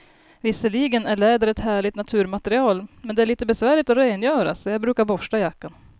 Visserligen är läder ett härligt naturmaterial, men det är lite besvärligt att rengöra, så jag brukar borsta jackan.